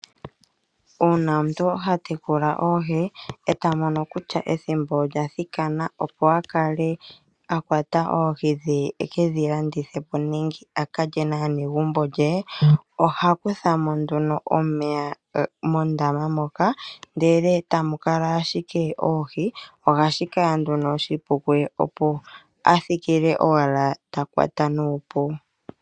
Uuna omuntu ha tekula oohi, e ta mono kutya ethimbo olya thikana opo a kale a kwata oohi dhe e ke dhi landithe po nenge a ka lye naanegumbo lye, oha kutha mo nduno omeya mondama moka, ndele tamu kala ashike oohi, ohashi kala nduno oshipu kuye opo a thikile owala ta kwata nuupu.